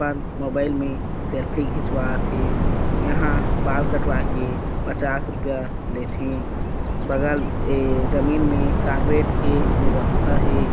अपन मोबाइल में सेल्फी खिचवात हे एहा बाल कटवाए के पच्चास रूपया लेथे बगल ऐ जमीन में कार्बेट के वेवस्था हे।